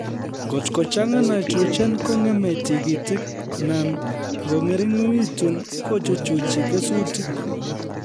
Ngot kochang'a nitrogen kong'emei tikitik na ngong'ering'itu kochuchuchi kesutik